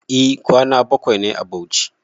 E kwana bakwai nayi a Bauchi